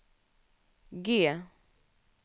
G